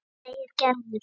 segir Gerður.